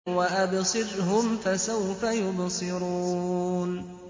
وَأَبْصِرْهُمْ فَسَوْفَ يُبْصِرُونَ